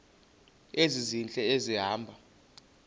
ezintle esi hamba